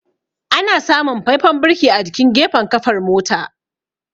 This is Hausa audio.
Ana samun faifan birki a jikin gafen kafar mota.